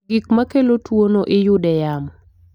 Gik makelo tuwo no iyude yamo